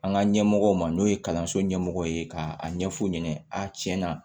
An ka ɲɛmɔgɔw ma n'o ye kalanso ɲɛmɔgɔ ye ka a ɲɛf'u ɲɛna a tiɲɛna